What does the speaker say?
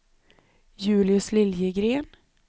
Julius Liljegren